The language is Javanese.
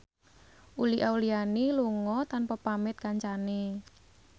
Uli Auliani lunga tanpa pamit kancane